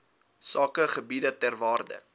sakegebiede ter waarde